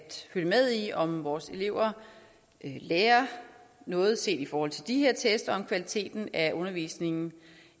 følge med i om vores elever lærer noget set i forhold til de her test og om kvaliteten af undervisningen